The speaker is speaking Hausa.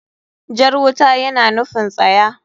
Jar wuta yana nufin tsaya.